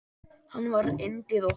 Hann var yndið okkar.